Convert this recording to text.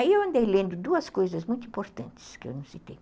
Aí eu andei lendo duas coisas muito importantes que eu não citei.